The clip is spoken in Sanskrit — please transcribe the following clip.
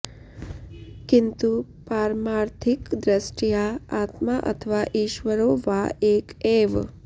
किन्तु पारमार्थिकदृष्ट्या आत्मा अथवा ईश्वरो वा एक एव